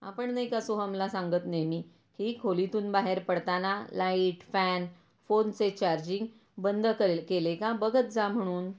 आपण नाही का सोहमला सांगत नेहमी की खोलीतून बाहेर पडताना लाइट, फॅन, फोनचे चार्जिंग बंद केले का बघत जा म्हणून.